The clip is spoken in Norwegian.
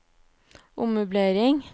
ommøblering